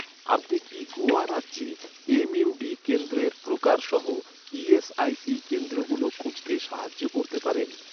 আপনি কি গোয়া রাজ্যে এম.ইউ.ডি কেন্দ্রের প্রকার সহ, ই.এস.আই.সি কেন্দ্রগুলো খুঁজতে সাহায্য করতে পারেন?